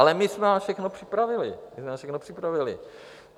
Ale my jsme vám všechno připravili, my jsme vám všechno připravili!